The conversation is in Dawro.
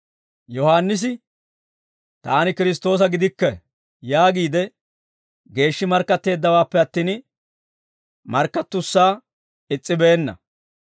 Yohaannisi, «Taani Kiristtoosa gidikke» yaagiide geeshshi markkatteeddawaappe attin, markkattussaa is's'ibeenna.